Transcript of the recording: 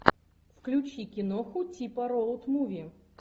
включи киноху типа роуд муви